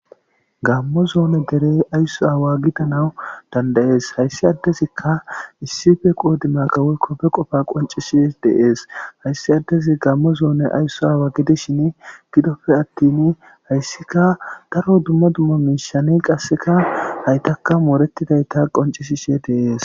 Gammo zone dere ayso aawa gidanaw danda'ees. hayssi adezikka issippe qodimaga woykko be qofa qonccisidi de'ees. hayssi adezi gamo zoone ayso aawa gidishin gidoppe attin hayssikka daro dumma dumma mishani qassekka haytankka mooretidayta qonccisishe de'ees.